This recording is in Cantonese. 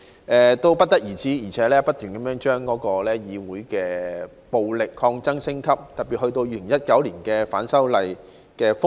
更甚的是，他們不停將議會的暴力抗爭升級，特別是及至2019年的反修例風暴。